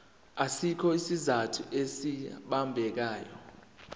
asikho isizathu esibambekayo